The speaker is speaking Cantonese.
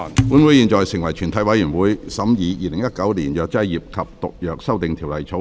本會現在成為全體委員會，審議《2019年藥劑業及毒藥條例草案》。